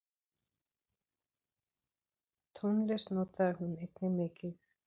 Tónlist notaði hún einnig mikið.